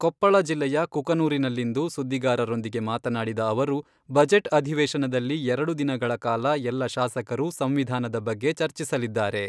ಕೊಪ್ಪಳ ಜಿಲ್ಲೆಯ ಕುಕನೂರಿನಲ್ಲಿಂದು ಸುದ್ದಿಗಾರರೊಂದಿಗೆ ಮಾತನಾಡಿದ ಅವರು, ಬಜೆಟ್ ಅಧಿವೇಶನದಲ್ಲಿ ಎರಡು ದಿನಗಳ ಕಾಲ ಎಲ್ಲ ಶಾಸಕರು ಸಂವಿಧಾನದ ಬಗ್ಗೆ ಚರ್ಚಿಸಲಿದ್ದಾರೆ.